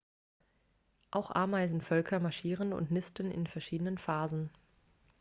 auch ameisenvölker marschieren und nisten in verschiedenen phasen